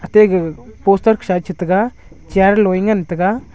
te gag poster sa eh chi taga chair lo eh ngan taga.